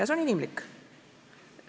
See on inimlik.